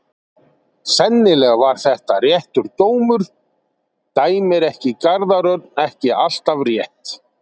Sennilega var þetta réttur dómur, dæmir ekki Garðar Örn ekki alltaf rétt?